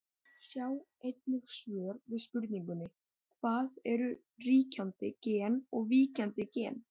Sjá einnig svör við spurningunni Hvað eru ríkjandi gen og víkjandi gen?